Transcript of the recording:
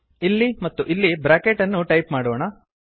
ಇಲ್ಲಿ ಮತ್ತು ಇಲ್ಲಿ ಬ್ರಾಕೆಟ್ ಅನ್ನು ಟೈಪ್ ಮಾಡೋಣ